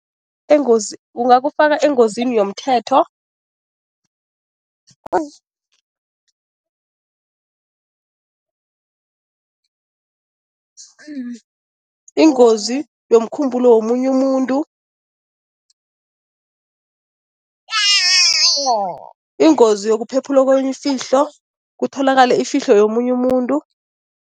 kungakufaka engozini yomthetho, ingozi yomkhumbulo womunye umuntu, ingozi yokuphephulwa kwemfihlo, kutholakale ifihlo yomunye umuntu.